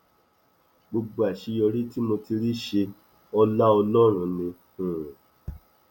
gbogbo àṣeyọrí tí mo ti rí ṣe ọlá ọlọrun ni um